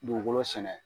Dugukolo sɛnɛ